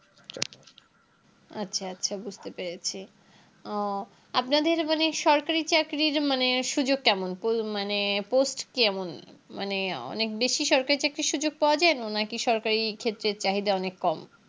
আচ্ছা আচ্ছা বুঝতে পেরেছি ও আপনাদের মানে সরকারি চাকরির মানে সুযোগ কেমন Po মানে Post কেমন মানে অনেক বেশি সরকারি চাকরির সুযোগ পাওয়া যায় নাকি সরকারি ক্ষেত্রের চাহিদা অনেক কম